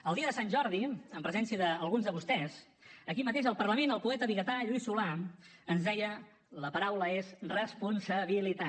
el dia de sant jordi en presència d’alguns de vostès aquí mateix al parlament el poeta vigatà lluís solà ens deia la paraula és responsabilitat